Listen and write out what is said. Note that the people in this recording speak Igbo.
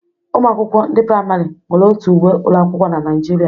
Ụmụ akwụkwọ ndị praịmarị nwere otu uwe ụlọ akwụkwọ n'Naijiria